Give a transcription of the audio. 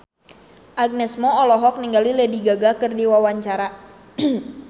Agnes Mo olohok ningali Lady Gaga keur diwawancara